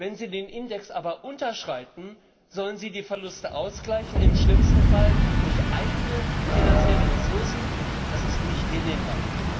Wenn sie den Index aber unterschreiten, sollen sie die Verluste ausgleichen, im schlimmsten Fall durch eigene finanzielle Ressourcen das ist nicht hinnehmbar.